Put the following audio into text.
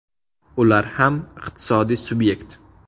Ular ham iqtisodiy subyekt.